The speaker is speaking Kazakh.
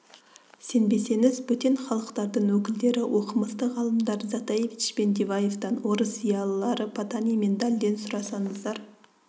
сенбесеңіз бөтен халықтардың өкілдері оқымысты-ғалымдар затаевич пен диваевтан орыс зиялылары потанин мен дальден сұраңыздар